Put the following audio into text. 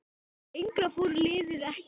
Lengra fór liðið ekki.